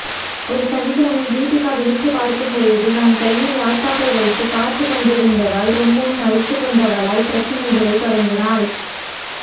ஒரு சனிக்கிழமை தீபிகா விழித்துப்பார்க்கும் பொழுது நான் கையில் லாப்டாப் வைத்துப் பார்த்துக் கொண்டிருந்ததால் ரொம்பவும் அலுத்துக்கொண்டவளாய் பிரச்சனையைத் தொடங்கினாள்